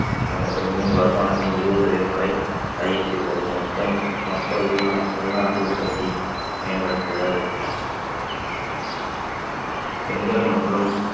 அந்தப் பெண்ணின் வருமானத்தின் இருபது சதவீதம் வரை அதிகரித்து உள்ளது மொத்தம் மொத்த உள்~ உள்நாட்டு உற்பத்தி மேம்படுத்துதல் பெண்கள் மற்றும்